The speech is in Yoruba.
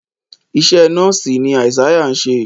iṣé nọọsi ní Isaiah ṣe